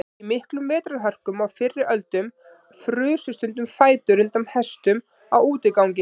Í miklum vetrarhörkum á fyrri öldum frusu stundum fætur undan hestum á útigangi.